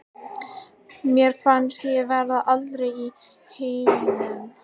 Mér fannst ég vera alein í heiminum.